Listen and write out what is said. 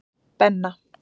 Benna